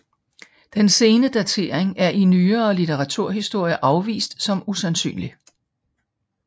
Den sene datering er i nyere litteraturhistorie afvist som usandsynlig